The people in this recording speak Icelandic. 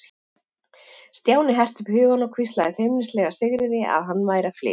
Stjáni herti upp hugann og hvíslaði feimnislega að Sigríði að hann væri að flytja.